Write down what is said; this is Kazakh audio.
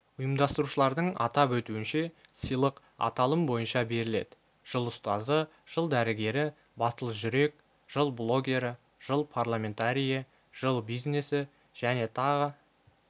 ұйымдастырушылардың атап өтуінше сыйлық аталым бойынша беріледі жыл ұстазы жыл дәрігері батыл жүрек жыл блогері жыл парламентарийі жыл бизнесі және тағы